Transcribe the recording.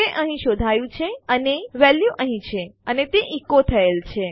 તે અહીં શોધાયું છે અને વેલ્યુ અહીં છે અને તે ઇકો થયેલ છે